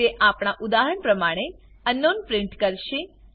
તે આપણા ઉદાહરણ પ્રમાણે અંકનાઉન પ્રિન્ટ કરશે